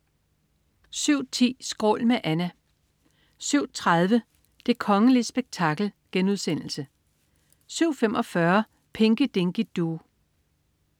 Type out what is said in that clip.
07.10 Skrål. Med Anna 07.30 Det kongelige spektakel* 07.45 Pinky Dinky Doo